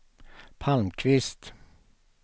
Palmqvist